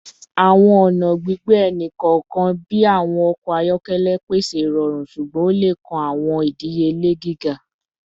Awọn ọna gbigbe ẹni kọọkan bi awọn ọkọ ayọkẹlẹ pese irọrun ṣugbọn o le kan awọn idiyele giga